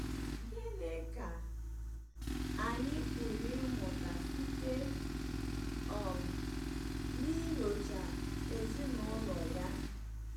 Gịnị ka anyị pụrụ ịmụta site um n'inyocha ezinụlọ ya?